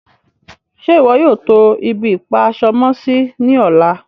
Ṣẹ́ iwọ yóò tó ibi-ipa-aṣọ-mọ-sí ní ọ̀lá?